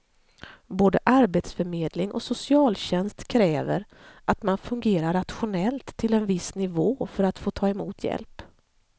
Både arbetsförmedling och socialtjänst kräver att man fungerar rationellt till en viss nivå för att få ta emot hjälp.